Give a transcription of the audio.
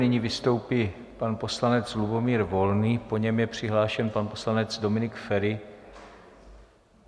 Nyní vystoupí pan poslanec Lubomír Volný, po něm je přihlášen pan poslanec Dominik Feri.